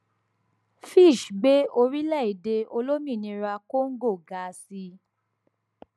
fitch gbé orílẹèdè olómìnira congo ga sí